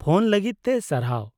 -Phone ᱞᱟᱹᱜᱤᱫ ᱛᱮ ᱥᱟᱨᱦᱟᱣ ᱾